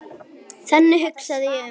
Þannig hugsaði ég um þig.